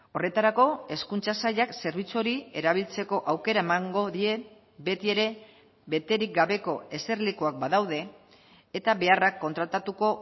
horretarako hezkuntza sailak zerbitzu hori erabiltzeko aukera emango die beti ere beterik gabeko eserlekuak badaude eta beharrak kontratatuko